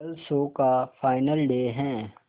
कल शो का final day है